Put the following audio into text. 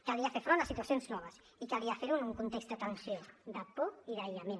calia fer front a situacions noves i calia fer ho en un context de tensió de por i d’aïllament